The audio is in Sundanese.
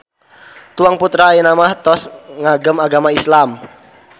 Tuang putra ayeuna mah tos ngagem agama Islam.